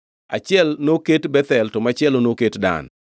Achiel noket Bethel to machielo noket Dan.